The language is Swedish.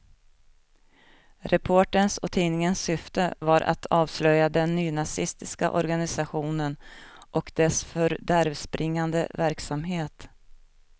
Reporterns och tidningens syfte var att avslöja den nynazistiska organisationen och dess fördärvbringande verksamhet.